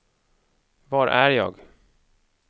var är jag